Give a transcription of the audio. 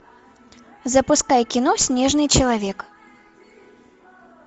запускай кино снежный человек